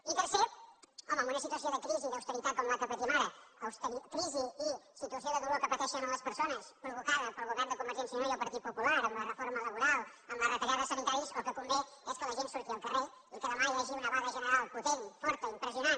i tercer home en una situació de crisi i d’austeritat com la que patim ara crisi i situació de dolor que pa·teixen les persones provocada pel govern de conver·gència i unió i el partit popular amb la reforma labo·ral amb les retallades sanitàries el que convé és que la gent surti al carrer i que demà hi hagi una vaga general potent forta impressionant